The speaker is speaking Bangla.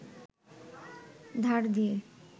ধার দিয়ে